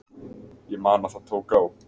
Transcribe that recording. Ég man að það tók á.